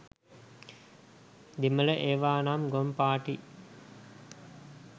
දෙමල ඒවානම් ගොන් පාටි.